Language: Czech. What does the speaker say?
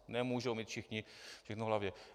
Nemohou mít všichni všechno v hlavě.